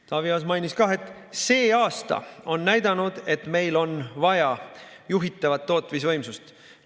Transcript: Taavi Aas mainis ka, et see aasta on näidanud, et meil on vaja juhitavat tootmisvõimsust.